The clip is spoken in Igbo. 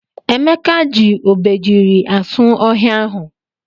Emeka ji obejiri asụ ohia ahụ.